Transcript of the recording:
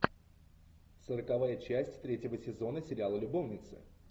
сороковая часть третьего сезона сериала любовницы